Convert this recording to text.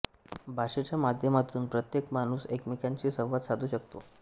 भाषेच्या माध्यमातून प्रत्येक माणूस एकमेकांशी संवाद साधू शकतो